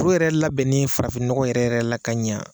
U yɛrɛ labɛnni farafin nɔgɔ yɛrɛ yɛrɛ la ka ɲa